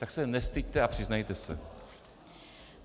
Tak se nestyďte a přiznejte se.